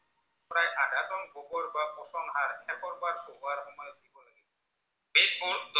বোৰ